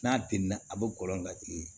N'a denna a bɛ kɔlɔn ka tigɛ